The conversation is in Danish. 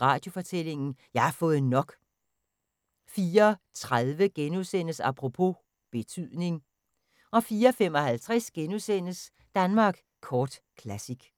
Radiofortællinger: Jeg har fået nok! * 04:30: Apropos - betydning * 04:55: Danmark Kort Classic *